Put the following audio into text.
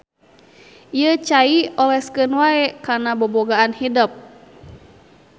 Ieu cai oleskeun wae kana bobogaan hidep.